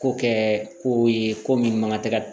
Ko kɛ ko ye ko min man ka tɛ ka